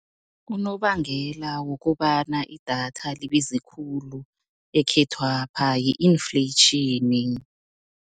Unobangela wokobana idatha libize khulu ekhethwapha yi-inflation.